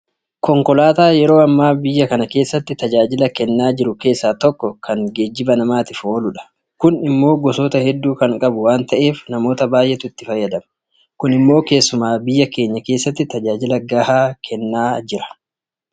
Konkolaataa yeroo ammaa biyya kana keessatti tajaajila kennaa jiru keessaa tokko kan geejibaa namaatiif ooludha. Kun immoo gosoota hedduu kan qabu waanta ta'eef namoota baay'eetu itti fayyadama. Kun immoo keessumaa biyya keenya keessatti tajaajila gahaa kennaa jira.